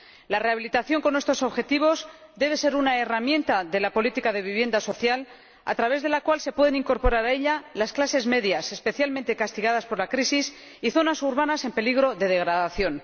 La rehabilitación con estos objetivos debe ser una herramienta de la política de vivienda social a través de la cual se pueden incorporar a ella las clases medias especialmente castigadas por la crisis y zonas urbanas en peligro de degradación.